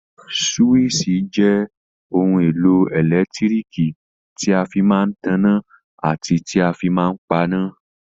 Súwísì jẹ́ ohun èlò ẹ̀lẹ́tíríkì tí a fí máa n tanná àti tí a fí máa n paná